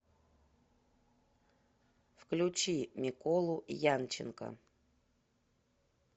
включи миколу янченко